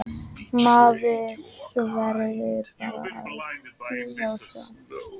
Maður verður bara að bíða og sjá.